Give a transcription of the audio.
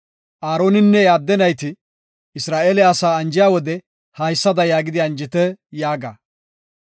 “Aaroninne iya adde nayti Isra7eele asaa anjiya wode haysada yaagidi anjite yaaga;